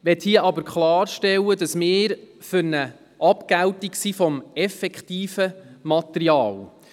Ich möchte hier aber klarstellen: Wir sind für eine Abgeltung des effektiv benutzten Materials.